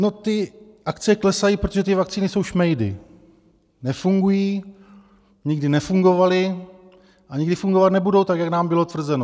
No, ty akcie klesají, protože ty vakcíny jsou šmejdy, nefungují, nikdy nefungovaly a nikdy fungovat nebudou tak, jak nám bylo tvrzeno.